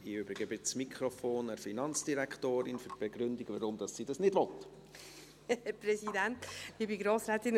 Ich übergebe das Mikrofon der Finanzdirektorin für die Begründung, weshalb sie dies nicht will.